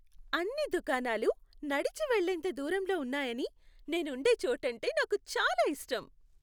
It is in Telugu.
అన్ని దుకాణాలు నడిచి వెళ్ళేంత దూరంలో ఉన్నాయని నేను ఉండే చోటంటే నాకు చాలా ఇష్టం.